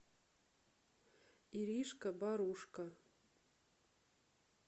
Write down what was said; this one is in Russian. иришка борушко